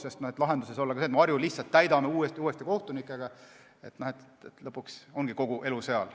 Lahendus ei ole ka see, kui me Harju Maakohut lihtsalt täidame uute ja uute kohtunikega, siis lõpuks ongi kogu elu seal.